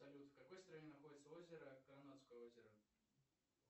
салют в какой стране находится озеро карнадское озеро